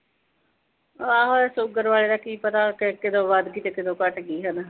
ਆਹੋ ਸ਼ੂਗਰ ਆਲੇ ਦਾ ਕੀ ਪਤਾ, ਕਦੋਂ ਵਧਗੀ ਤੇ ਕਦੋਂ ਘਟਗੀ ਹਨਾ।